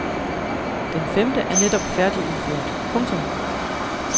Den femte er netop færdigudført. punktum